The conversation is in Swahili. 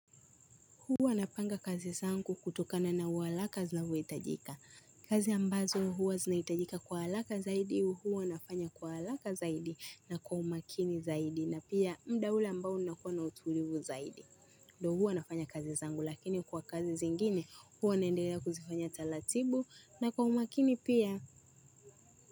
Huwa napanga kazi zangu kutokana na uharaka zinavyohitajika. Kazi ambazo huwa zinahitajika kwa haraka zaidi huwa nafanya kwa haraka zaidi na kwa umakini zaidi na pia muda ule ambao unakuwa na utulivu zaidi. Ndio huwa nafanya kazi zangu lakini kwa kazi zingine huwa naendela kuzifanya taratibu na kwa umakini pia.